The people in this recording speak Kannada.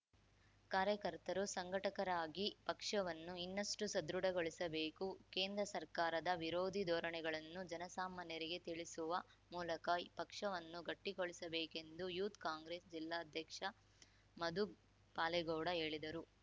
ಕಾರ್ಯಕರ್ತರು ಸಂಘಟಕರಾಗಿ ಪಕ್ಷವನ್ನು ಇನ್ನಷ್ಟುಸದೃಢಗೊಳಿಸಬೇಕು ಕೇಂದ್ರ ಸರ್ಕಾರದ ವಿರೋಧಿ ಧೋರಣೆಗಳನ್ನು ಜನಸಾಮಾನ್ಯರಿಗೆ ತಿಳಿಸುವ ಮೂಲಕ ಪಕ್ಷವನ್ನು ಗಟ್ಟಿಗೊಳಿಸಬೇಕೆಂದು ಯೂತ್‌ ಕಾಂಗ್ರೆಸ್‌ ಜಿಲ್ಲಾಧ್ಯಕ್ಷ ಮಧು ಪಾಲೇಗೌಡ ಹೇಳಿದರು